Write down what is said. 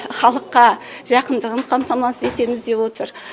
халыққа жақындығын қамтамасыз етеміз деп отыр